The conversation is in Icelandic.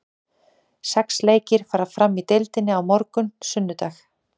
Sex leikir fara fram í deildinni á morgun, sunnudag.